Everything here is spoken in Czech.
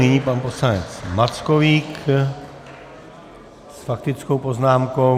Nyní pan poslanec Mackovík s faktickou poznámkou.